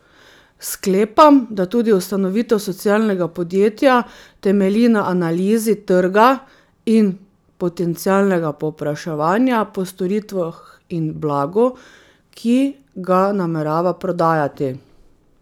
Sklepam, da tudi ustanovitev socialnega podjetja temelji na analizi trga in potencialnega povpraševanja po storitvah in blagu, ki ga namerava prodajati.